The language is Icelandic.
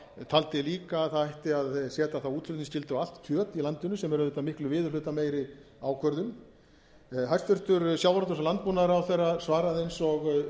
taldi líka að það ætti að setja þá útflutningsskyldu á allt kjöt í landinu sem er auðvitað miklu viðurhlutameiri ákvörðun hæstvirtum sjávarútvegs og landbúnaðarráðherra svaraði eins og